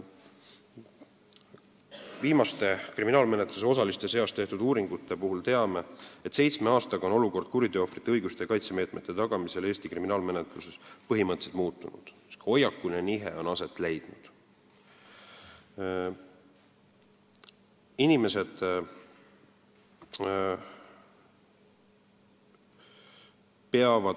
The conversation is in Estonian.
Viimastest kriminaalmenetluse osaliste seas tehtud uuringutest teame, et seitsme aastaga on kuriteoohvrite õiguste ja kaitsemeetmete tagamise olukord Eesti kriminaalmenetluses põhimõtteliselt muutunud, on leidnud aset hoiakuline nihe.